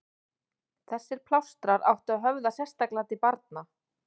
þessir plástrar áttu að höfða sérstaklega til barna